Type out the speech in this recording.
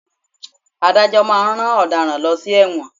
Adájọ́ máa ń rán ọ̀daràn lọ sí ẹ̀wọ̀n.